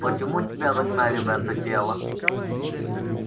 почему тебя загнали в это тело